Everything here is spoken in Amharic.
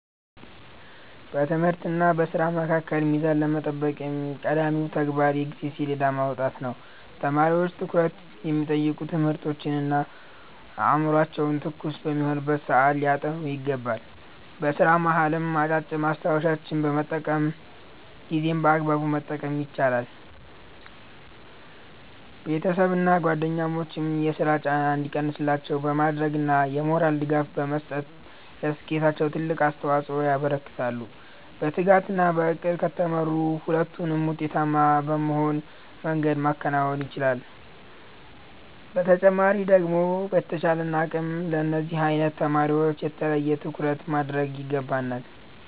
በትምህርትና በሥራ መካከል ሚዛን ለመጠበቅ ቀዳሚው ተግባር የጊዜ ሰሌዳ ማውጣት ነው። ተማሪዎች ትኩረት የሚጠይቁ ትምህርቶችን አእምሯቸው ትኩስ በሆነበት ሰዓት ሊያጠኑ ይገባል። በሥራ መሃልም አጫጭር ማስታወሻዎችን በመጠቀም ጊዜን በአግባቡ መጠቀም ይቻላል። ቤተሰብና ጓደኞችም የሥራ ጫና እንዲቀንስላቸው በማድረግና የሞራል ድጋፍ በመስጠት ለስኬታቸው ትልቅ አስተዋፅኦ ያበረክታሉ። በትጋትና በዕቅድ ከተመሩ ሁለቱንም ውጤታማ በሆነ መንገድ ማከናወን ይቻላል። በተጨማሪ ደግሞ በተቻለን አቅም ለነዚህ አይነት ተማሪወች የተለየ ትኩረት ማድረግ ይገባናል።